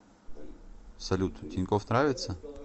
салют тинькофф нравится